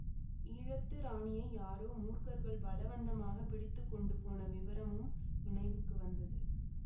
ஈழத்து ராணியை யாரோ மூர்க்கர்கள் பலவந்தமாக பிடித்து கொண்டு போன விவரமும் நினைவுக்கு வந்தது